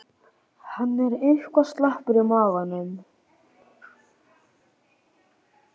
Hann er eitthvað slappur í maganum.